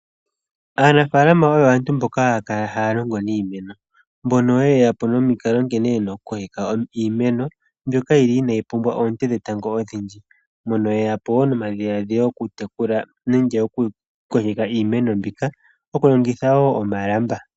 Aanafaalama oyo aantu mboka haya longo niimeno mbono ye ya po nomikalo nkene ye na okukokeka iimeno mbyoka yi li inaayi pumbwa oonte dhetango odhindji. Mono yeya po wo nomadhiladhilo okutekule nenge okukokeka iimeno mbika okulongitha wo omalamba.